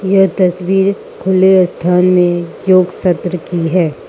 यह तस्वीर खुले स्थान में योग सत्र की है।